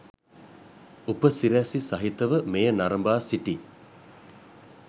උපසි‍රැසි සහිතව මෙය නරඹා සිටි